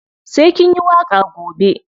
Sai kin yi waƙa gobe.